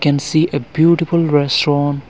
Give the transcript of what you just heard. can see a beautiful restaurant.